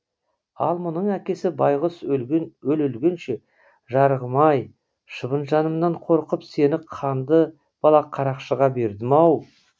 ал мұның әкесі байғұс өле өлгенше жарығым ай шыбын жанымнан қорқып сені қанды балақ қарақшыға бердім ау